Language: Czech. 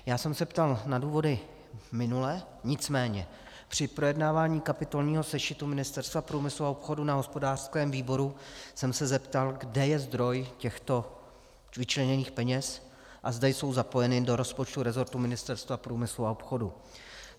Já jsem se ptal na důvody minule, nicméně při projednávání kapitolního sešitu Ministerstva průmyslu a obchodu na hospodářském výboru jsem se zeptal, kde je zdroj těchto vyčleněných peněz a zda jsou zapojeny do rozpočtu resortu Ministerstva průmyslu a obchodu.